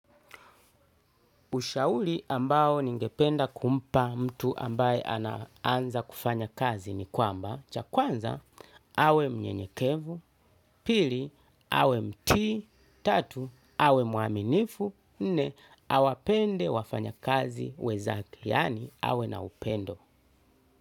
Ushauri ambao ningependa kumpa mtu ambaye anaanza kufanya kazi ni kwamba, chakwanza, awe mnyenyekevu, pili, awe mtii, tatu, awe mwaminifu, nne, awapende wafanya kazi wenzake, yaani awe na upendo.